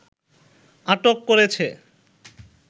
আটক করেছে